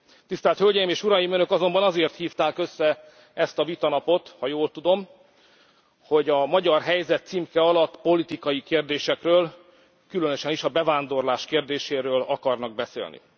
Tisztelt Hölgyeim és Uraim, Önök azonban azért hívták össze ezt a vitanapot, ha jól tudom, hogy a magyar helyzet címke alatt politikai kérdésekről, különösen is a bevándorlás kérdéséről akarnak beszélni.